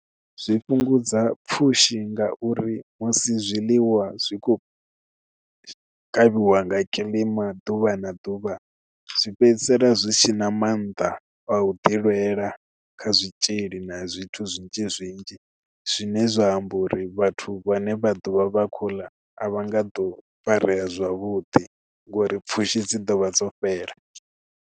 Zwi fhungudza pfhushi ngauri musi zwiḽiwa zwi khou kavhiwa nga kiḽima ḓuvha na ḓuvha zwi fhedzisela zwi so na maanḓa a u ḓi lwela ḽa kha zwitzhili na zwithu zwinzhi zwinzhi zwine zwa amba uri vhathu vhane vha ḓovha vha kho ḽa a vha nga ḓo farea zwavhuḓi ngori pfhushi dzi ḓo vha dzo fhela.